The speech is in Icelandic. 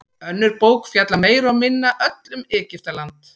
Önnur bók fjallar meira og minna öll um Egyptaland.